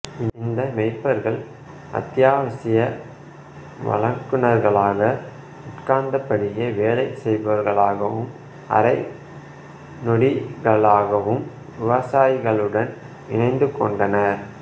இந்த மேய்ப்பர்கள் அத்தியாவசிய வழங்குநர்களாக உட்கார்ந்தபடியே வேலை செய்பவர்களாகவும் அரை நாடோடிகளாகவும் விவசாயிகளுடன் இணைந்துகொண்டனர்